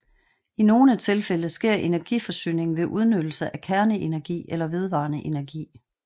I nogle tilfælde sker energiforsyningen ved udnyttelse af kerneenergi eller vedvarende energi